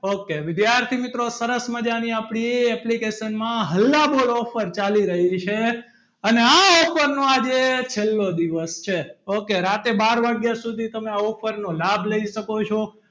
Ok વિદ્યાર્થી મિત્રો સરસ મજાની આપણી એ application માં હલ્લા બોલ offer ચાલી રહી છે અને આ offer નો આજે છેલ્લો દિવસ છે ok રાતે બાર વાગ્યા સુધી તમે આ offer નો લાભ લઈ શકો છો.